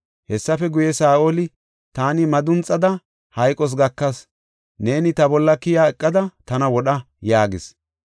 Hessafe guye, Saa7oli, ‘Taani madunxada, hayqos gakas; neeni ta bolla keyiya eqada tana wodha’ yaagis.